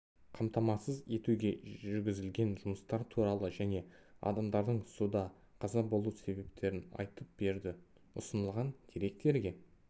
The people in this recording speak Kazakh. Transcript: қамтамасыз етуге жүргізілген жұмыстар туралы және адамдардың суда қаза болу себептерін айтып берді ұсынылған деректерге